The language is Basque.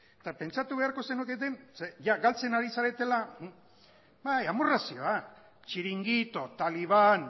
eta pentsatu beharko zenuketen zeren jada galtzen ari zaretela bai amorrazioa txiringito taliban